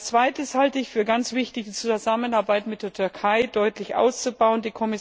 Als zweites halte ich es für ganz wichtig, die Zusammenarbeit mit der Türkei deutlich auszubauen.